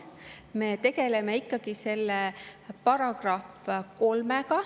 Me tegeleme ikkagi selle §-ga 3.